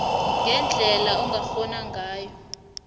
ngendlela ongakghona ngayo